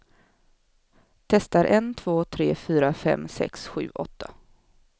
Testar en två tre fyra fem sex sju åtta.